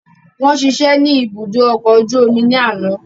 Wọ́n ṣiṣẹ́ ní ibùdó ọkọ̀ ojú omi ní àná